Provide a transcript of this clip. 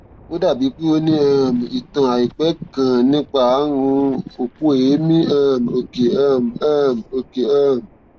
ó dàbí pé o ní um ìtàn àìpẹ kan nípa ààrùn òpó èémí um òkè um um òkè um